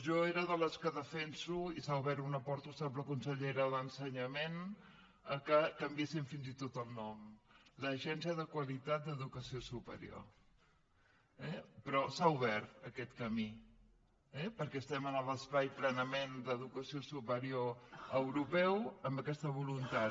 jo sóc de les que defenso i s’hi ha obert una porta ho sap la consellera d’ensenyament que li canviessin fins i tot el nom l’agència de qualitat d’educació superior eh però s’ha obert aquest camí eh perquè estem en l’espai plenament d’educació superior europeu amb aquesta voluntat